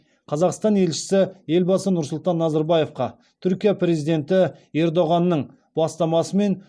қазақстан елшісі елбасы нұрсұлтан назарбаевқа түркия президенті ердоғанның бастамасымен